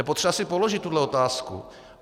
Je potřeba si položit tuhle otázku.